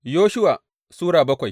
Yoshuwa Sura bakwai